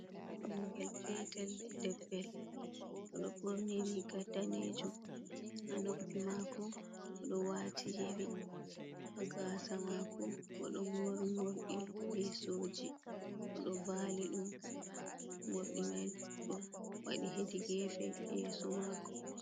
Ɓingel petel debbel oɗo ɓorni Riga danejum Ha noppi ma'ko boɗo wa'ti yeri haga'sa mako bo ɗo mari morɗi yesoji oɗo va'li ɗum morɗi mai ɗowaɗi hedi gefe yeso m'ako.